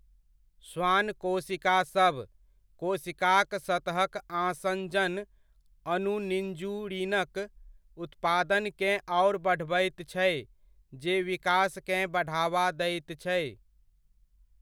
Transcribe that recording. श्वान कोशिकासभ, कोशिकाक सतहक आसँजन अणु निन्जुरिनक उत्पादनकेँ आओर बढ़बैत छै जे विकासकेँ बढ़ावा दैत छै।